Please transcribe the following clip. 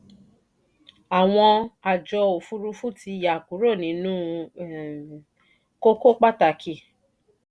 àwọn àjọ òfúrufú ti yá kúrò nínú kókó pàtàkì.